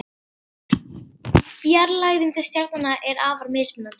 Fjarlægðin til stjarnanna er afar mismunandi.